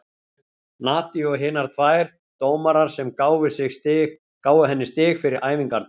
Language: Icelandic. Nadiu og hinar tvær dómarar sem gáfu henni stig fyrir æfingarnar.